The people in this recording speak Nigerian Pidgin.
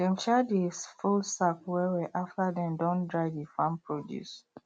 dem um dey fold sack wellwell after dem don dry the farm produce